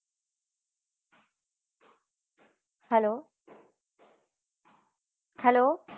hello hello